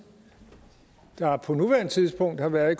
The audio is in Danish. der på nuværende tidspunkt har været